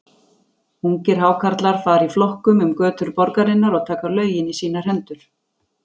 Ungir Hákarlar fara í flokkum um götur borgarinnar og taka lögin í sínar hendur.